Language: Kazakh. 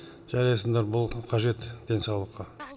жарайсыңдар бұл қажет денсаулыққа